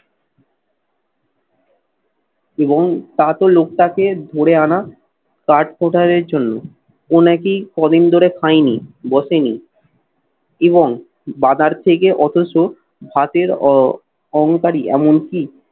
এবং তা তো লোকটাকে ধরে আনা কাঠ porter এর জন্য। ও নাকি কদিন ধরে খাইনি বসেনি এবং বাজার থেকে অথচ ভাতের অ অহংকারী এমনকি